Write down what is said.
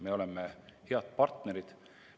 Me oleme head partnerid.